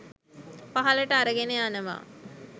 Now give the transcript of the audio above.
පහළට අරගෙන යනවා.